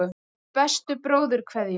Með bestu bróðurkveðjum.